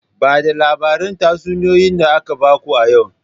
Ba da labarin tatsuniyoyi da aka baku a yau!